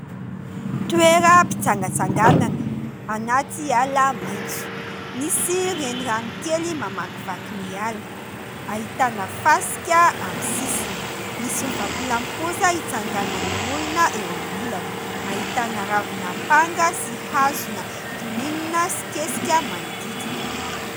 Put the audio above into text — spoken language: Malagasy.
Toeram-pitsangatsanganana anaty ala maitso. Misy renirano kely mamakivaky ny ala. Ahitana fasika amin'ny sisiny. misy vatolampy kosa hitsanganan'ny olona eo amin'ny ilana. Ahitana ravina panga sy hazona kininina sy kesika manodidina.